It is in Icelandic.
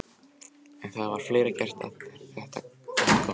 En það var fleira gert en gott þótti.